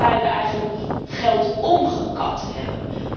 Een top waarbij we eigenlijk geld omgekat hebben.